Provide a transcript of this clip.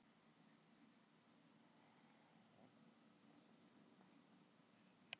Hvers vegna hlýnar nú á jörðinni?